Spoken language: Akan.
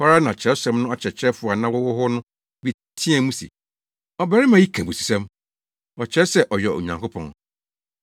Ɛhɔ ara na Kyerɛwsɛm no akyerɛkyerɛfo a na wɔwɔ hɔ no bi teɛɛ mu se, “Ɔbarima yi ka abususɛm. Ɔkyerɛ sɛ ɔyɛ Onyankopɔn!”